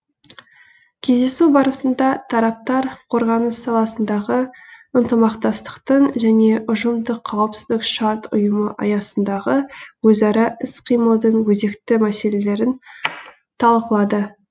кездесу барысында тараптар қорғаныс саласындағы ынтымақтастықтың және ұжымдық қауіпсіздік шарт ұйымы аясындағы өзара іс қимылдың өзекті мәселелерін талқылады